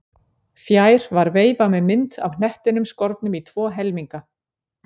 Fjær var veifa með mynd af hnettinum skornum í tvo helminga.